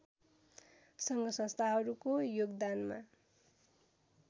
सङ्घसंस्थाहरूको योगदानमा